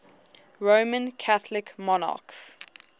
roman catholic monarchs